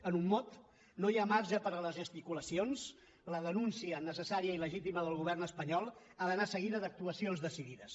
en un mot no hi ha marge per a les gesticulacions la denúncia necessària i legítima del govern espanyol ha d’anar seguida d’actuacions decidides